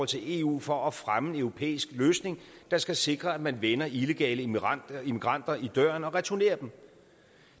til eu for at fremme en europæisk løsning der skal sikre at man vender illegale migranter i migranter i døren og returnerer dem